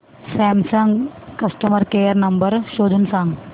Samsung customer care number शोधून सांग